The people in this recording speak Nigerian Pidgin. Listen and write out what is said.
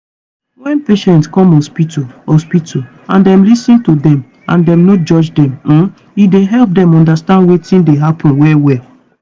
wen patient come hospital hospital and dem lis ten to dem and dem no judge dem um e dey help dem undastand wetin dey happen well well.